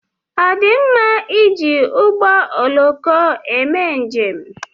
Ọ dị mma iji ụgbọ ọloko eme njem?